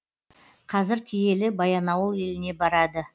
қазір киелі баянауыл еліне барады